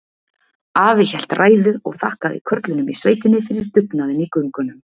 Afi hélt ræðu og þakkaði körlunum í sveitinni fyrir dugnaðinn í göngunum.